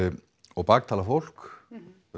og baktala fólk